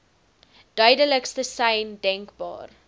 duidelikste sein denkbaar